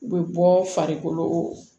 U bɛ bɔ farikolo